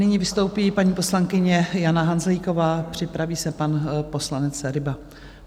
Nyní vystoupí paní poslankyně Jana Hanzlíková, připraví se pan poslanec Ryba.